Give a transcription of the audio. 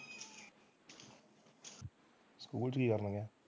School ਚ ਕੀ ਕਰਨਾ ਵਾ?